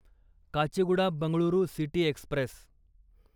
Kacheguda Bengaluru city Express